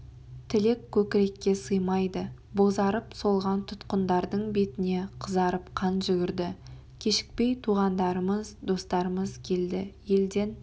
тілек көкірекке сыймайды бозарып солған тұтқындардың беттеріне қызарып қан жүгірді кешікпей туғандарымыз достарымыз келді елден